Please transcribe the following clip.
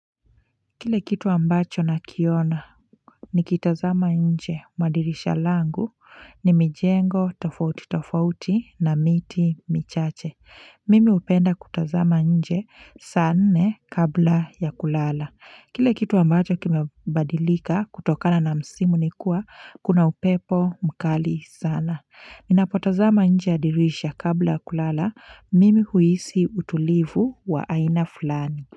Kile kitu ambacho nakiona nikitazama nje mwa dirisha langu ni mijengo tofauti tofauti na miti michache. Mimi hupenda kutazama nje saa nne kabla ya kulala. Kile kitu ambacho kimebadilika kutokana na msimu nikua kuna upepo mkali sana. Ninapotazama nje ya dirisha kabla ya kulala mimi huhisi utulivu wa aina fulani.